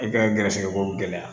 I ka gɛrɛsɛgɛ ko gɛlɛya